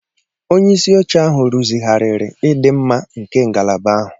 Onye isi oche ahụ rụzigharịrị ịdị mma nke ngalaba ahụ.